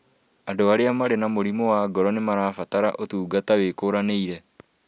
Andũ arĩa marĩ na mũrimũ wa ngoro nĩmarabatara ũtungata wĩkũranĩire